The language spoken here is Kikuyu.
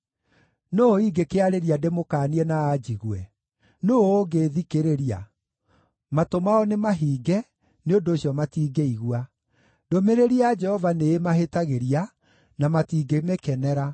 Nũũ ingĩkĩarĩria ndĩmũkaanie na anjigue? Nũũ ũngĩĩthikĩrĩria? Matũ mao nĩmahinge, nĩ ũndũ ũcio matiingĩigua. Ndũmĩrĩri ya Jehova nĩĩmahĩtagĩria, na matingĩmĩkenera.